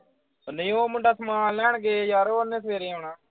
ਓਹ ਨਹੀਂ ਉਹ ਮੁੰਡਾ ਸਮਾਨ ਲੈਣ ਗਏ ਯਾਰ ਉਹਨੇ ਸਵੇਰੇ ਆਉਣਾ।